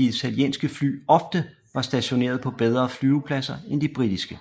italienske fly ofte var stationeret på bedre flyvepladser end de britiske